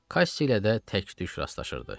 Kassi ilə də tək-tük rastlaşırdı.